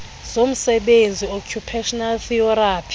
zomsebenzi occupational therapy